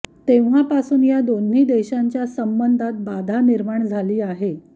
तेव्हापासून या दोन्ही देशांच्या संबंधात बाधा निर्माण झाली आहे